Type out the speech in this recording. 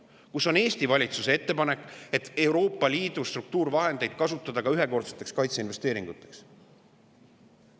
Kus on Eesti valitsuse ettepanek, et Euroopa Liidu struktuurivahendeid kasutada ka ühekordseteks kaitseinvesteeringuteks?